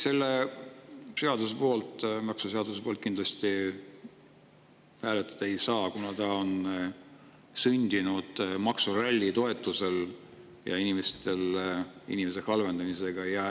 Selle seaduse poolt kindlasti hääletada ei saa, kuna ta on sündinud maksuralli toetusel ja inimeste halvenemise.